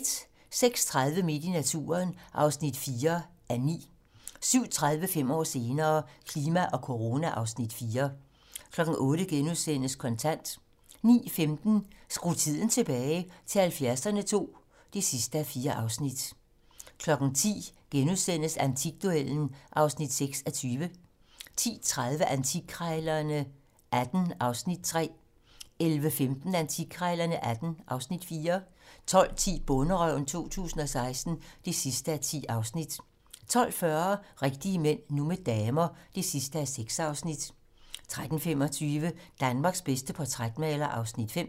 06:30: Midt i naturen (4:9) 07:30: Fem år senere - klima og corona (Afs. 4) 08:00: Kontant * 09:15: Skru tiden tilbage - til 70'erne II (4:4) 10:00: Antikduellen (6:20)* 10:30: Antikkrejlerne XVIII (Afs. 3) 11:15: Antikkrejlerne XVIII (Afs. 4) 12:10: Bonderøven 2016 (10:10) 12:40: Rigtige mænd - nu med damer (6:6) 13:25: Danmarks bedste portrætmaler (Afs. 5)